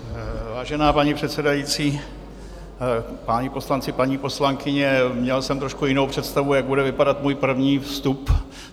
Vážená paní předsedající, páni poslanci, paní poslankyně, měl jsem trošku jinou představu, jak bude vypadat můj první vstup.